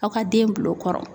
Aw ka den bil'o kɔrɔ.